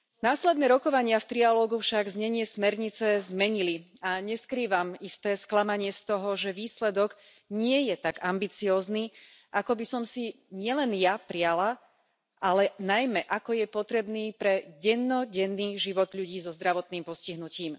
Následné rokovania v trialógu však znenie smernice zmenili a neskrývam isté sklamanie z toho, že výsledok nie je tak ambiciózny, ako by som si nielen ja priala, ale najmä, ako je potrebné pre dennodenný život ľudí so zdravotným postihnutím.